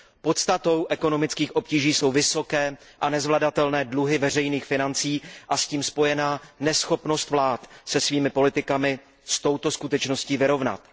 Podstatou ekonomických obtíží jsou vysoké a nezvladatelné dluhy veřejných financí a s tím spojená neschopnost vlád se svými politikami s touto skutečností vyrovnat.